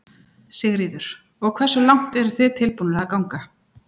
Sigríður: Og hversu langt eru þið tilbúnir að ganga?